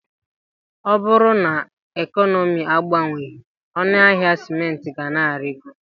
Ọ bụrụ na ekọnọmi agbanweghị, ọnụ ahịa sịmentị ga na-arigo.